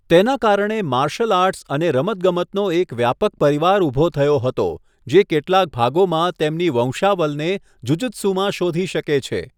તેના કારણે martial arts અને રમતગમતનો એક વ્યાપક પરિવાર ઊભો થયો હતો, જે કેટલાક ભાગોમાં તેમની વંશાવલને જુજુત્સુમાં શોધી શકે છે.